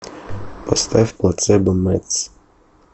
поставь плацебо медс